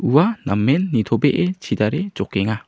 ua namen nitobee chidare jokenga.